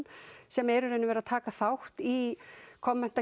sem er í raun og veru að taka þátt í